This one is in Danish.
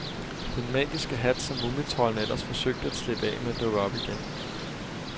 Den magiske hat, som mumitroldene ellers forsøgte at slippe af med, dukker op igen.